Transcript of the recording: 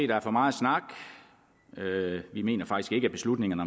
der er for meget snak vi mener faktisk ikke at beslutningerne